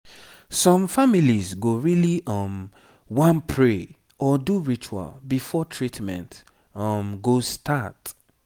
some families go really um wan pray or do ritual before treatment um go start